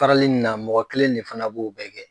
Farali in na mɔgɔ kelen de fana b'o bɛɛ kɛ.